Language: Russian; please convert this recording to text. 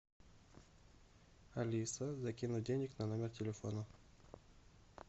алиса закинуть денег на номер телефона